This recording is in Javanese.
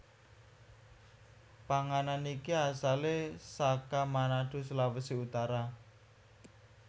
Panganan iki asale saka Manado Sulawesi Utara